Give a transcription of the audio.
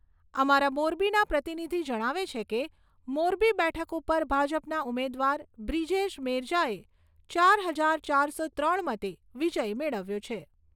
અમારા મોરબીના પ્રતિનિધિ જણાવે છે કે, મોરબી બેઠક ઉપર ભાજપના ઉમેદવાર બ્રિજેશ મેરજાએ ચાર હજાર ચારસો ત્રણ મતે વિજય મેળવ્યો છે.